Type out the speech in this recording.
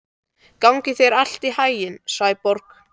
Gangi þér allt í haginn, Sæborg.